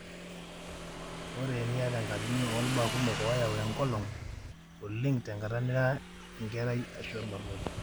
ore eniata enkatini olbaa kumok oyau engolong, oleng tenkata nira enkerai ashu olbarnoti.